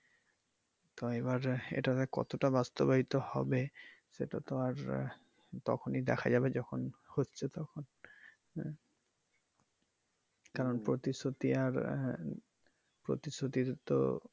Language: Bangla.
তো এবার এটা যে কতটা বাস্তবায়িত হবে সেটা তো আর আহ তখনই দেখা যাবে যখন হচ্ছে তখন আহ কারণ প্রতিশ্রুতি আর আহ প্রতিশ্রুতির তো।